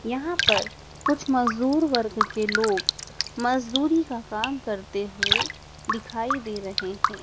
यहाँ पर कुछ मजदूर वर्ग के लोग मजदूरी का काम करते हुए दिखाई दे रहे हैं।